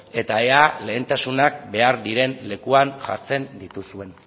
eta ea lehentasuna behar diren lekuan jartzen dituzuen